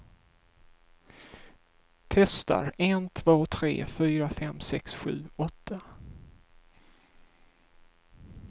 Testar en två tre fyra fem sex sju åtta.